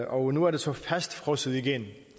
og nu er det så fastfrosset igen